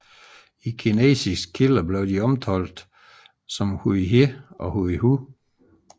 I kinesiske kilder blev de omtalt som Huíhé og Huihu